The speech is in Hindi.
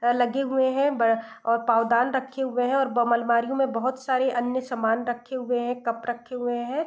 अ लगे हुए हैं ब और पाँवदान रखे हुए हैं और बम अलमारीयों में बहुत सारे अन्य सामान रखे हुए हैं कप रखे हुए हैं।